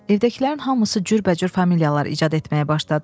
Evdəkilərin hamısı cürbəcür familiyalar icad etməyə başladılar.